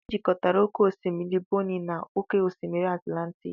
Ejikọtara oke osimiri Bonny na oke osimiri Atlantic.